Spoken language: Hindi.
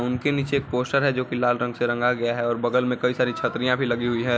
उनके नीचे एक पोस्टर है जोकि लाल रंग से रंगा गया है और बगल में कई सारी छत्रियां भी लगी हुई है।